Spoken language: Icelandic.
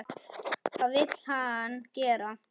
Hvað vill hann gera?